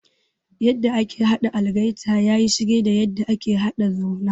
Yadda ake haɗa algaita yayi shige da yadda ake haɗa Zurna.